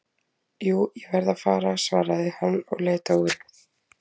Jú, ég verð að fara svaraði hann og leit á úrið.